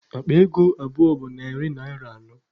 Akpa ego abụọ bụ narị naịra anọ.